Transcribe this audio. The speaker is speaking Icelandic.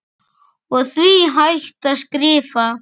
og því hægt að skrifa